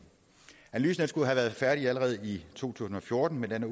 analysen skulle have være færdig allerede i to tusind og fjorten men den